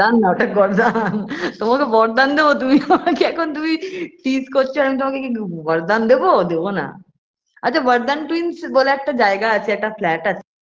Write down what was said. বরদান না ওটা গর্দান তোমাকে বরদান দেবো তুমি আমাকে এখন তুমি tease করছো আর আমি তোমাকে কি বরদান দেবো দেবনা আচ্ছা বরদান twins বলে একটা জায়গা আছে একটা flat আছে